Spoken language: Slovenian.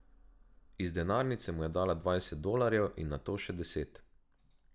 Iz denarnice mu je dala dvajset dolarjev in nato še deset.